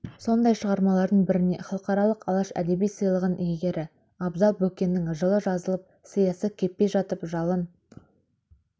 сондай шығармалардың біріне халықаралық алаш әдеби сыйлығының иегері абзал бөкеннің жылы жазылып сиясы кеппей жатып жалын